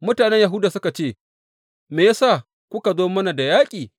Mutanen Yahuda suka ce, Me ya sa kuka zo mana da yaƙi?